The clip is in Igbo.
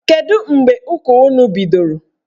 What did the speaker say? Kedụ mgbe ụka unu bidoro?